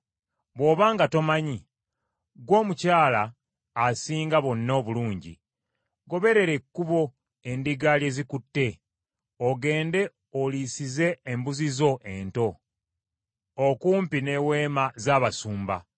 Bw’oba nga tomanyi, ggwe omukyala asinga bonna obulungi, goberera ekkubo endiga lye zikutte, ogende oliisize embuzi zo ento, okumpi n’eweema z’abasumba.